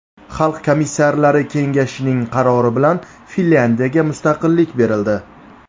Xalq komissarlari kengashining qarori bilan Finlyandiyaga mustaqillik berildi.